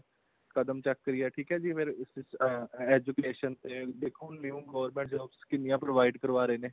ਕਦਮ ਚੱਕ ਰਹੀ ਆ ਠੀਕ ਆ ਜੀ ਅਮ ਫ਼ੇਰ education ਤੇ ਦੇਖੋ new government jobs ਕਿੰਨੀਆ provide ਕਰ ਰਹੇ ਨੇ